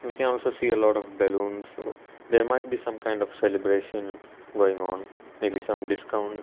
we can also see a lot of balloons ah so there might be some kind of celebration going on may be some discount.